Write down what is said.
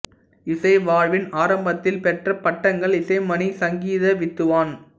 இசை வாழ்வின் ஆரம்பத்தில் பெற்ற பட்டங்கள் இசைமணி சங்கித வித்வான்